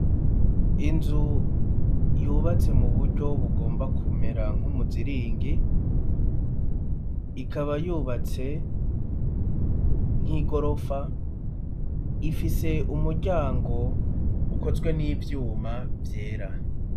Inzu yubatse mu buryo bugomba kumera nk'umuziringi, ikaba yubatse nk'igorofa, ifise umuryango ukozwe n'ivyuma vyera.